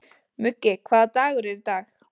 Muggi, hvaða dagur er í dag?